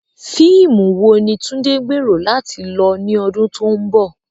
Fíìmù wo ni Tunde gbèrò láti lọ ní ọdún tó ń bọ̀?